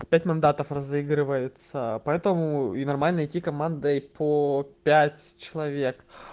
пять мандатов разыгрывается поэтому и нормально идти командой по пять человек